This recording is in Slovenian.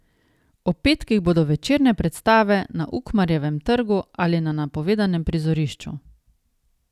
Ob petkih bodo večerne predstave na Ukmarjevem trgu ali na napovedanem prizorišču.